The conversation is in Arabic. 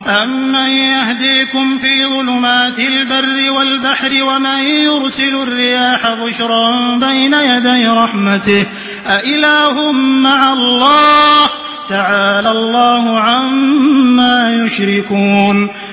أَمَّن يَهْدِيكُمْ فِي ظُلُمَاتِ الْبَرِّ وَالْبَحْرِ وَمَن يُرْسِلُ الرِّيَاحَ بُشْرًا بَيْنَ يَدَيْ رَحْمَتِهِ ۗ أَإِلَٰهٌ مَّعَ اللَّهِ ۚ تَعَالَى اللَّهُ عَمَّا يُشْرِكُونَ